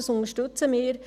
Wir unterstützen das.